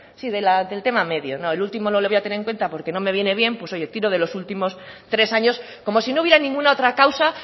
sí del tema medio no el último no lo voy a tener en cuenta porque no me viene bien pues oye tiro de los últimos tres años como si no hubiera ninguna otra causa